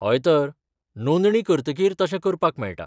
हय तर, नोंदणी करतकीर तशें करपाक मेळटा.